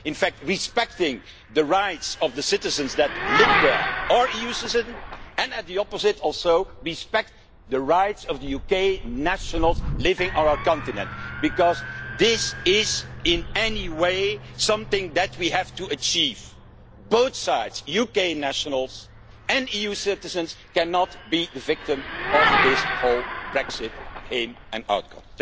In fact respecting the rights of the citizens who live there, our EU citizens, and on the opposite side also respecting the rights of UK nationals living on our continent, because this is, in any way, something that we have to achieve. Both sides, UK nationals and EU citizens, cannot be the victims of this whole Brexit, in and outcome.